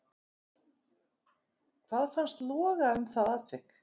Hvað fannst loga um það atvik?